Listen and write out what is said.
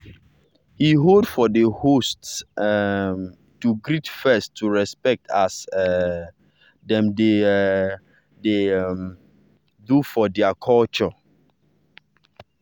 he hold for the host um to greet first to respect as um dem dey um dey um do for their culture.